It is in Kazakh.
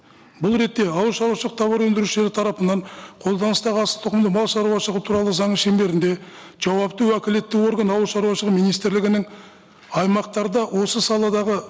бұл ретте ауыл шаруашылық тауар өндірушілері тарапынан қолданыстағы асылтұқымды малшаруашылығы туралы заңның шеңберінде жауапты уәкілетті орган ауылшаруашылығы министрлігінің аймақтарда осы саладағы